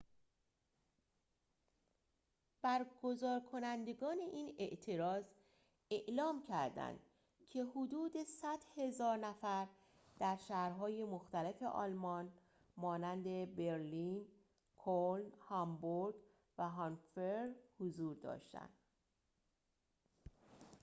برگزارکنندگان این اعتراض اعلام کرددند که حدود ۱۰۰,۰۰۰ نفر در شهرهای مختلف آلمان مانند برلین کلن هامبورگ و هانوفر حضور داشتند